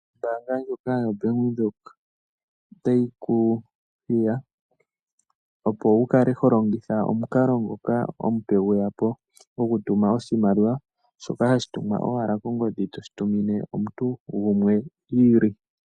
Ombaanga ndjoka yoBank Windhoek otayi ku hiya, opo wu kale ho longitha omukalo ngoka omupe gwe ya po gokutuma oshimaliwa, shoka hashi tumwa owala kongodhi to shi tumine omuntu gumwe i ili.